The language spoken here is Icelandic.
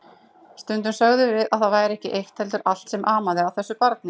Stundum sögðum við að það væri ekki eitt heldur allt sem amaði að þessu barni.